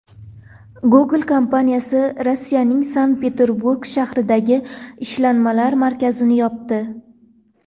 Google kompaniyasi Rossiyaning Sankt-Peterburg shahridagi ishlanmalar markazini yopdi.